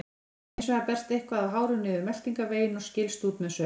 Hins vegar berst eitthvað af hárum niður meltingarveginn og skilst út með saur.